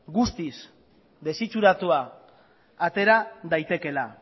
guztiz desitxuratua atera daitekeela